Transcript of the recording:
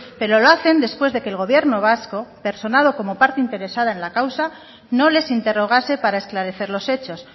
pero lo hacen después de que el gobierno vasco personado como parte interesada en la causa no les interrogase para esclarecer los hechos